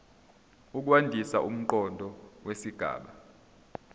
ukwandisa umqondo wesigaba